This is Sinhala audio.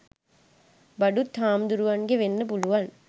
බඩුත් හාමුදුරුවන්ගේ වෙන්න පුළුවන්.